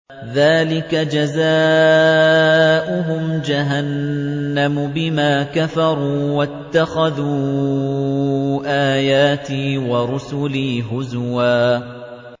ذَٰلِكَ جَزَاؤُهُمْ جَهَنَّمُ بِمَا كَفَرُوا وَاتَّخَذُوا آيَاتِي وَرُسُلِي هُزُوًا